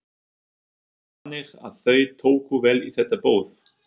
Þannig að þau tóku vel í þetta boð?